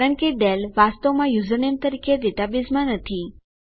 કારણ કે ડેલ વાસ્તવમાં યુઝરનેમ તરીકે ડેટાબેઝમાં નથી